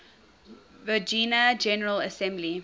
virginia general assembly